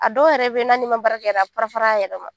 A dɔw yɛrɛ bɛ yen n'a n'i ma baara kɛ a bɛ fara fara a yɛlɛma